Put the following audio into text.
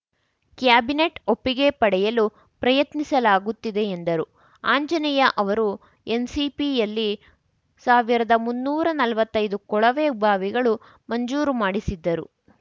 cabinet ಒಪ್ಪಿಗೆ ಪಡೆಯಲು ಪ್ರಯತ್ನಿಸಲಾಗುತ್ತಿದೆ ಎಂದರು ಆಂಜನೇಯ ಅವರು ಎಸ್‌ಸಿಪಿಯಲ್ಲಿ ಸಾವಿರದ ಮುನ್ನೂರಾ ನಲ್ವತ್ತೈದು ಕೊಳವೆಬಾವಿಗಳು ಮಂಜೂರು ಮಾಡಿಸಿದ್ದರು